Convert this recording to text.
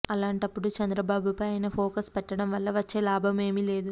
అలాంటప్పుడు చంద్రబాబుపైన ఆయన ఫోకస్ పెట్టడం వల్ల వచ్చే లాభం ఏమీ లేదు